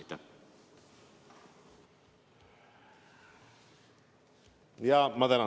Ma tänan teid!